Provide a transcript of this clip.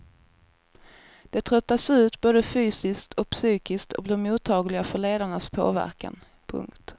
De tröttas ut både fysiskt och psykiskt och blir mottagliga för ledarnas påverkan. punkt